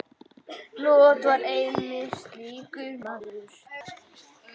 Lot var einmitt slíkur maður.